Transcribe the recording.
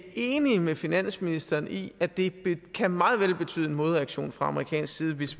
enige med finansministeren i at det meget vel kan betyde en modreaktion fra amerikansk side hvis